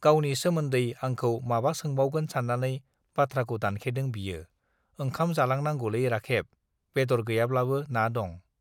गावनि सोमोन्दै आंखौ माबा सोंबावगोन सान्नानै बाथ्राखौ दानखेदों बियो, ओंखाम जालांनांगौलै राखेब, बेदर गैयाब्लाबो ना दं।